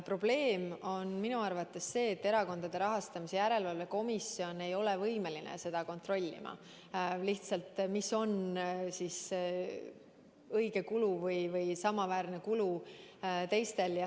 Probleem on minu arvates see, et Erakondade Rahastamise Järelevalve Komisjon ei ole võimeline kontrollima, mis ikkagi on õige kulu või kui suur on analoogse teenuse kulu teistel.